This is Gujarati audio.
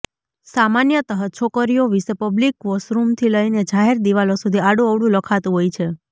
સામાન્યતઃ છોકરીઓ વિશે પબ્લિક વોશરૂમથી લઇને જાહેર દીવાલો સુધી આડુંઅવળું લખાતું હોય છે